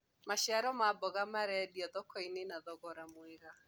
maciaro ma mboga marendio thoko-inĩ na thogora mwega